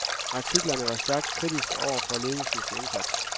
Artiklerne var stærkt kritiske over for ledelsens indsats.